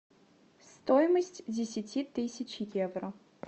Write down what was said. стоимость десяти тысяч евро